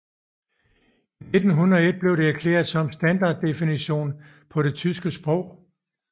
I 1901 blev det erklæret som standarddefinitionen på det tyske sprog